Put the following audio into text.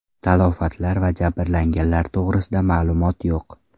Talafotlar va jabrlanganlar to‘g‘risida ma’lumot yo‘q.